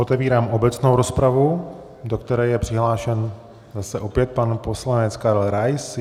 Otevírám obecnou rozpravu, do které je přihlášen zase opět pan poslanec Karel Rais.